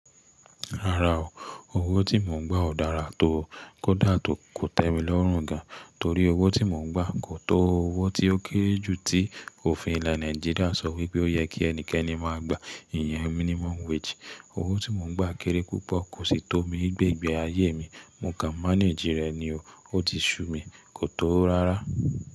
Rárá o, owó tí mò ń gbà ò dára tó o, kódà kò tẹ́mi lọ́rùn gan. Torí owó tí mò ń gbà kò tó owó tí ó kéré jù tí òfin ilẹ̀ Nàìjíríà sọ wípé ó yẹ kí ẹnikẹ́ni máa gba, ìyẹn minimum wage. Owó tí mò ń gbà kéré púpọ̀, kò sì tó mi gbe igbe ayé mi. Mo kàn manage rẹ̀ ni o. Ó ti ṣú mi, kò tó rárá.